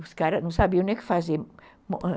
Os caras não sabiam nem o que fazer